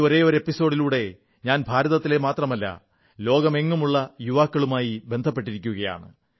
ഈ ഒരേയൊരു എപ്പിസോഡിലൂടെ ഞാൻ ഭാരതത്തിലെ മാത്രമല്ല ലോകത്തെങ്ങുമുള്ള യുവാക്കളുമായി ബന്ധപ്പെട്ടിരിക്കയാണ്